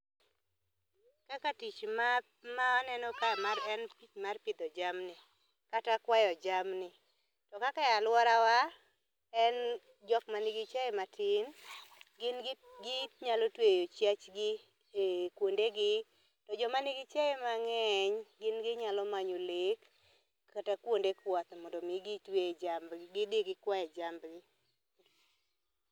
Kaka tich ma maneno ka en tich mar pidho jamni kata kwayo jamni. To kaka aluorawa en jok ma nigi chiaye matin, gin gi nyalo tweyo chiachgi kuonde gi. To joma nigi chiayo mang'eny gin ginyalo manyo lek kata kuonde kwath mondo mi gitwe e jambgi gidhi gikwaye jambgi.